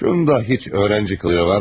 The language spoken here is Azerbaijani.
Şunda heç öğrenci qılığı var mı?